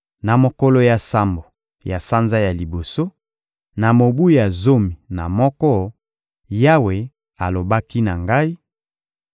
Na mokolo ya sambo ya sanza ya liboso, na mobu ya zomi na moko, Yawe alobaki na ngai: